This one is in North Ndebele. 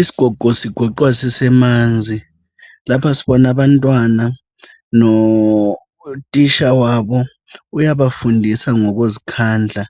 Isigogo sigoqwa sisemanzi. Lapha sibona abantwana, kanye notitsha wabo. Uyabafundisa ngokuzikhandla.